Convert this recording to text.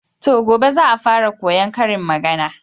To, gobe za'a fara koyan karin magana.